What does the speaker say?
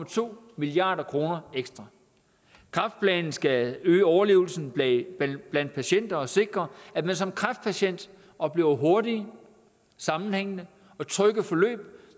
to milliard kroner ekstra kræftplanen skal øge overlevelsen blandt patienter og sikre at man som kræftpatient oplever hurtige sammenhængende og trygge forløb